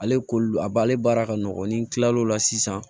Ale kolo a b'ale baara ka nɔgɔn ni tilal'o la sisan